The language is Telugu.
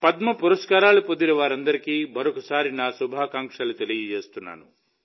పద్మ పురస్కారాలు పొందిన వారందరికీ మరోసారి నా శుభాకాంక్షలు తెలియజేస్తున్నాను